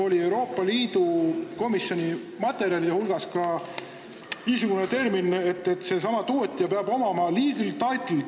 Aga Euroopa Komisjoni materjalis on kirjas ka, et seesama tootja peab omama legal title to the land.